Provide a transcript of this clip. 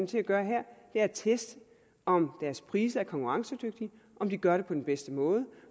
til at gøre her er at teste om deres priser er konkurrencedygtige om de gør det på den bedste måde